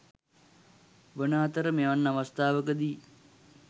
වන අතර මෙවන් අවස්ථාවකදී